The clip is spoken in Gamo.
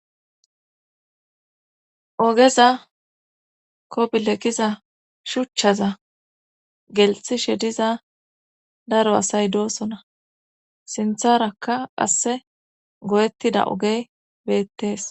ogeza kobilekiza shuchchaza gelxishe diza daro asay doosona sintharakka asse go7ettida ogey beettees